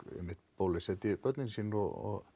bólusetji börnin sín og